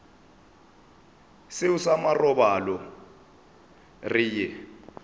seo sa marobalo re ye